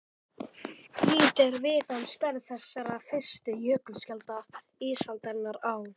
Lítið er vitað um stærð þessara fyrstu jökulskjalda ísaldarinnar á